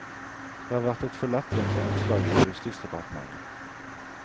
Det har vært et for lettvint avslag i justisdepartementet.